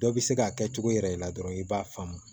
Dɔ bɛ se k'a kɛ cogo yɛrɛ la dɔrɔn i b'a faamu